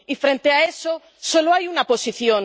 Y frente a eso, solo hay una posición.